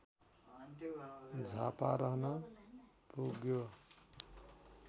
झापा रहन पुग्यो